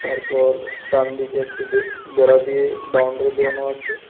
তারপর ডান দিকে একটি বে বেড়া দিয়ে বাউন্ডারি দেওয়ানো আছে।